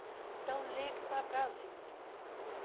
Então, ligue para Brasília.